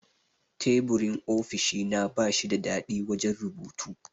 Teburin ofishina bashi da dadi wajan rubutu